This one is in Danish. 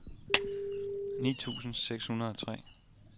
ni tusind seks hundrede og tre